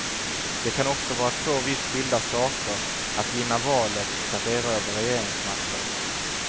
Det kan också vara två vitt skilda saker att vinna valet och att erövra regeringsmakten.